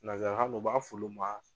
Nazarakan na u b'a f'ulu ma